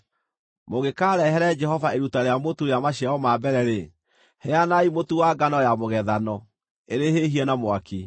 “ ‘Mũngĩkarehere Jehova iruta rĩa mũtu rĩa maciaro ma mbere-rĩ, heanai mũtu wa ngano ya mũgethano ĩrĩ hĩhie na mwaki.